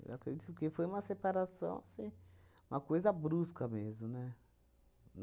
Eu acredito, porque foi uma separação assim, uma coisa brusca mesmo, né?